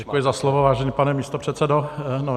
Děkuji za slovo, vážený pane místopředsedo.